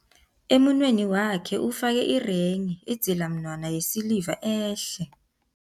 Emunweni wakhe ufake irenghi, idzilamunwana yesiliva ehle.